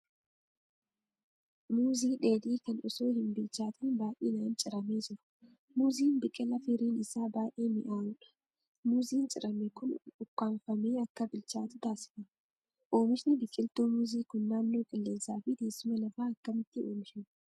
Muuzii dheedhii kan osoo hin bilchaatiin baay'inaan ciramee jiru. Muuziin biqilaa firiin isaa baay'ee mi'aawudha. Muuziin cirame kun ukkaamfamee akka bilchaatu taasifama. Oomishni biqiltuu muuzii kun naannoo qilleensaa fi teessuma lafaa akkamiitti oomishama?